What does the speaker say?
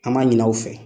An m'a ɲini aw fɛ